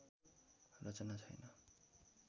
रचना छैन